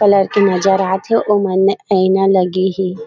Colour के नजर आथे ओ मन म आईना लगे हे।